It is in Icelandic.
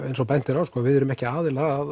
eins og bent er á við erum ekki aðilar að